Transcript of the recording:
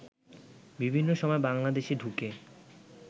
বিভিন্ন সময় বাংলাদেশে ঢুকে